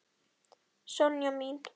Sonja mín.